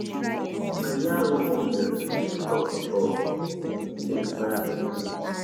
Some Nigerian role models dey flawed, but dem still dey inspire many pipo.